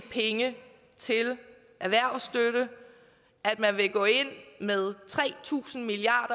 penge til erhvervsstøtte at man vil gå ind med tre tusind milliard